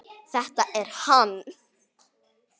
Þetta er hann.